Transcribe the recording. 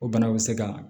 O bana bɛ se ka